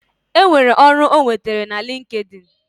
Enwere ọrụ ọ nwetere na linkedin